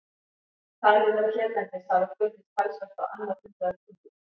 Talið er að hérlendis hafi fundist talsvert á annað hundrað kumla.